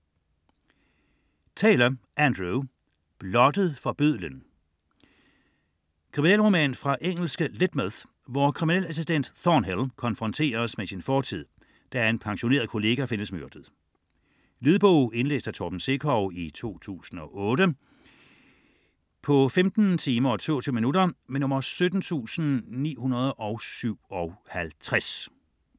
Taylor, Andrew: Blottet for bødlen Krimi fra engelske Lydmouth, hvor kriminalassistent Thornhill konfronteres med sin fortid, da en pensioneret kollega findes myrdet. Lydbog 17957 Indlæst af Torben Sekov, 2008. Spilletid: 15 timer, 22 minutter.